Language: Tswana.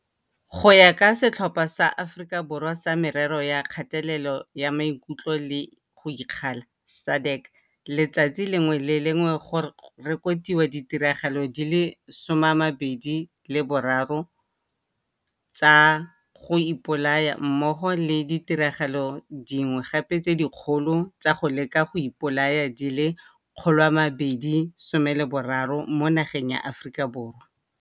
Go ya ka Setlhopha sa Aforika Borwa sa Merero ya Kgatelelo ya Maikutlo le go Ikgalala SADAG, letsatsi le lengwe le le lengwe go reko tiwa ditiragalo di le 23 tsa go ipolaya mmogo le ditiragalo tse dingwe gape tse dikgolo tsa go leka go ipolaya di le 230 mo nageng ya Aforika Borwa.